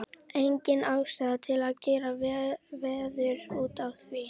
Engin ástæða til að gera veður út af því.